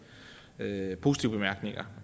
positive bemærkninger